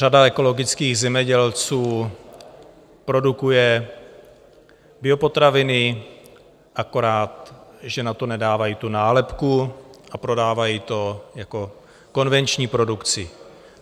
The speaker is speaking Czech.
Řada ekologických zemědělců produkuje biopotraviny, akorát že na to nedávají tu nálepku a prodávají to jako konvenční produkci.